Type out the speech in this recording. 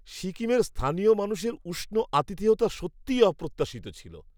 সিকিমের স্থানীয় মানুষের উষ্ণ আতিথেয়তা সত্যিই অপ্রত্যাশিত ছিল!